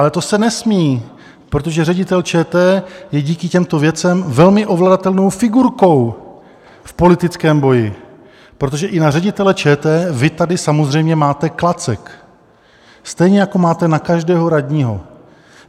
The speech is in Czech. Ale to se nesmí, protože ředitel ČT je díky těmto věcem velmi ovladatelnou figurkou v politickém boji, protože i na ředitele ČT vy tady samozřejmě máte klacek, stejně jako máte na každého radního.